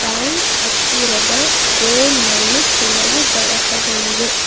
Bank ಹತ್ತಿರದ board ನಲ್ಲಿ ಕೆಲವು ಬರಹಗಳಿವೆ.